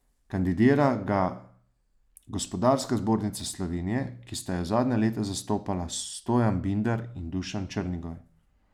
Kandidira ga Gospodarska zbornica Slovenije, ki sta jo zadnja leta zastopala Stojan Binder in Dušan Črnigoj.